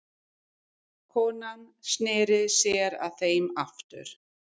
Konan sneri sér að þeim aftur.